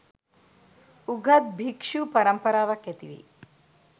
උගත් භික්ශු පරම්පරාවක් ඇතිවෙයි